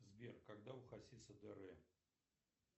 сбер когда у хасиса др